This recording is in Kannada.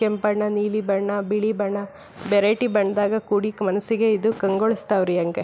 ಕೆಂಪ್ ಬಣ್ಣ ನೀಲಿ ಬಣ್ಣ ಬಿಳಿ ಬಣ್ಣ ವೆರೈಟಿ ಬಣ್ಣದಾಗ ಕೂಡಿ ಮನಸ್ಸಿಗೆ ಇದು ಕಂಗೊಳಿಸ್ತಾವೆ ರೀ ಹಂಗೆ.